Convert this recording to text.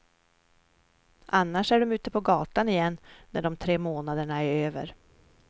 Annars är de ute på gatan igen när de tre månaderna är över.